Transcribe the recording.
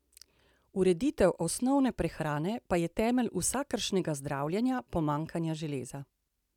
Ureditev osnovne prehrane pa je temelj vsakršnega zdravljenja pomanjkanja železa!